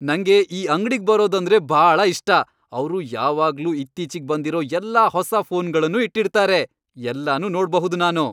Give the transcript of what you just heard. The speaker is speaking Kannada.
ನಂಗೆ ಈ ಅಂಗ್ಡಿಗ್ ಬರೋದಂದ್ರೆ ಭಾಳ ಇಷ್ಟ. ಅವ್ರು ಯಾವಾಗ್ಲೂ ಇತ್ತೀಚಿಗ್ ಬಂದಿರೋ ಎಲ್ಲ ಹೊಸಾ ಫೋನ್ಗಳ್ನೂ ಇಟ್ಟಿರ್ತಾರೆ.. ಎಲ್ಲನೂ ನೋಡ್ಬಹುದು ನಾನು.